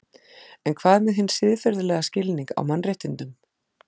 En hvað með hinn siðferðilega skilning á mannréttindum?